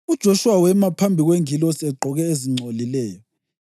UJoshuwa wema phambi kwengilosi egqoke ezingcolileyo.